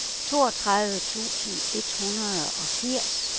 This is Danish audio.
toogtredive tusind et hundrede og firs